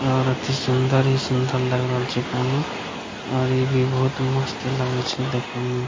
और अति सुन्दर ही सुन्दर लग रहल छै यहाँ और इ भी बहुत मस्त लगय छै देखे मे --